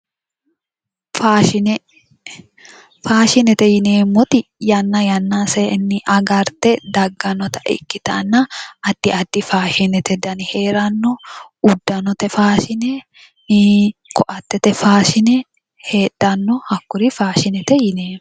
Faashine, faashinete yineemmoti yanna yannasenni agarte daggannota ikkitanna addi addi faashinete dani heeranno. Uddanote faashine koattete faashiine heedhanno. Hakkuri faashine yineemmo.